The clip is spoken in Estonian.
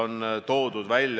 Aga mitte ainult.